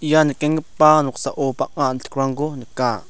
ia nikenggipa noksao bang·a a·tikrangko nika.